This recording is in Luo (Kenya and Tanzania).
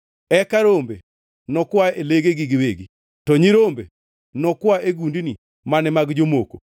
Eka rombe nokwa e legegi giwegi; to nyirombe nokwa e gundni mane mag jomoko.